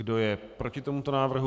Kdo je proti tomuto návrhu?